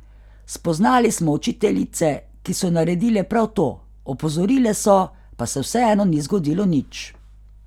Spoznali smo učiteljice, ki so naredile prav to, opozorile so, pa se vseeno ni zgodilo nič.